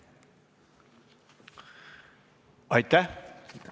Aitäh!